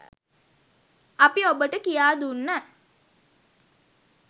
අපි ඔබට කියා දුන්න